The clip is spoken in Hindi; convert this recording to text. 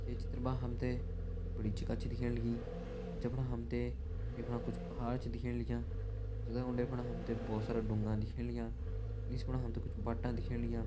ये चित्र मा हम तें एक बड़ी जगह छ दिखेण लगी जफणा हम तें यफणा कुछ पहाड़ छ दिखेण लग्यां जगा उंडे फुंडे हम तें बहोत सारा ढुंगा दिखेण लग्यां निस फणा हम तें कुछ बट्टा दिखेण लग्यां।